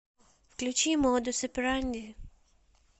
включи модус операнди